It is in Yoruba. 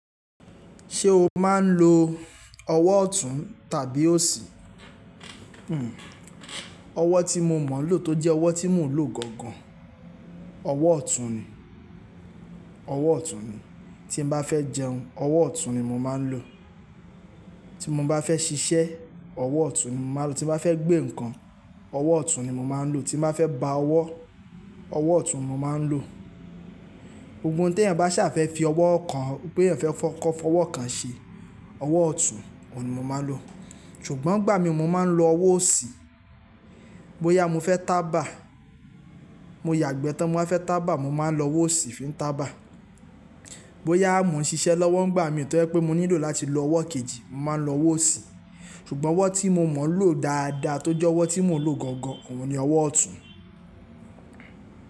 Ṣé o máa ń lo ọwọ́ ọ̀tún tàbí òsì? Ọwọ́ tí mo mọ̀ lọ̀ tó jẹ́ ọwọ́ tí mò ń lò gangan, ọwọ́ ọ̀tún ni. Ọwọ́ ọ̀tún ni, tí n bá fẹ́ jẹun, ọwọ́ ọ̀tún ni mo máa ń lò. Tí mo bá fẹ́ ṣiṣẹ́, ọwọ́ ọ̀tún ni mo máa ń lò. Tí mo bá fẹ́ gbé nǹkan, ọwọ́ ọ̀tún ni mo máa ń lò. Tí n bá fẹ́ ba ọwọ́, ọwọ́ ọ̀tún mo máa ń lò. Gbogbo n ti ẹ̀eyan bá ṣà fẹ́ fi ọwọ́ kan, pé ẹ̀eyan fẹ́ kọ́ ọwọ́ kan ṣe, ọwọ́ ọ̀tún, òun ni mo máa ń lò. Ṣùgbọ́n ìgbà mi mo máa ń lo ọwọ́ òsì, bóyá mo fẹ́ tábà, mo yàgbẹ́ tán, mo wa fẹ́ tábà, mo máa ń lo ọwọ́ òsì fi ń tábà. Bóyá mo ń ṣiṣẹ́ lọ́wọ́ ń gbà mi tó jẹ́ pé mo nílò láti lo ọwọ́ kejì, mo máa ń lo ọwọ́ òsì. Ṣùgbọ́n ọwọ́ tí mo mọ̀ lọ̀ dáadáa tó jẹ́ ọwọ́ tí mò ń lò gangan, òun ni ọwọ́ ọ̀tún.